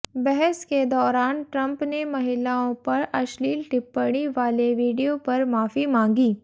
बहस के दौरान ट्रंप ने महिलाओं पर अश्लील टिप्पणी वाले वीडियो पर माफी मांगी